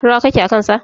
Rawa kake a kan sa.